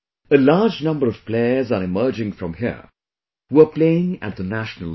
A large number of players are emerging from here, who are playing at the national level